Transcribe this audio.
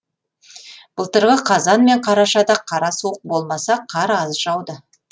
былтырғы қазан мен қарашада қара суық болмаса қар аз жауды